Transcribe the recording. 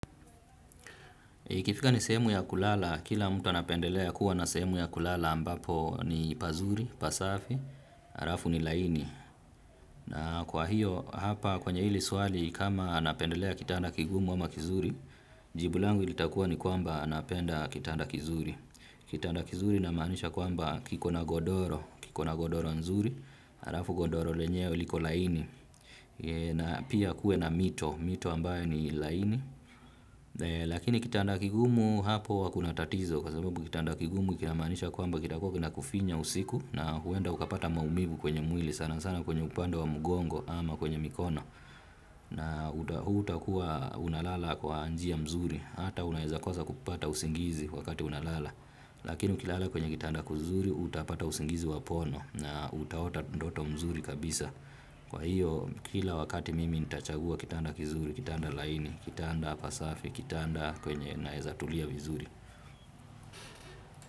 Ikifika ni sehemu ya kulala, kila mtu anapendelea kuwa na sehemu ya kulala ambapo ni pazuri, pasafi, halafu ni laini. Na kwa hiyo, hapa kwenye hili swali, kama napendelea kitanda kigumu ama kizuri, jibu langu litakua ni kwamba napenda kitanda kizuri. Kitanda kizuri namaanisha kuamba kiko na godoro, kiko na godoro nzuri, halafu godoro lenyewe liko laini. Na pia kuwe na mito, mito ambayo ni laini. Lakini kitanda kigumu hapo huwa kuna tatizo kwa sababu kitanda kigumu kinamaanisha kwamba kitakuwa kinakufinya usiku na huenda ukapata maumivu kwenye mwili sana sana kwenye upande wa mgongo ama kwenye mikono. Na hutakuwa unalala kwa njia mzuri hata unaweza kosa kupata usingizi wakati unalala. Lakini ukilala kwenye kitanda kuzuri utapata usingizi wa pono na utaota ndoto mzuri kabisa. Kwa hiyo kila wakati mimi nitachagua kitanda kizuri, kitanda laini, kitanda pasafi, kitanda kwenye naeza tulia vizuri.